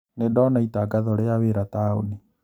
Nĩndona itangatho rĩa wĩra taũni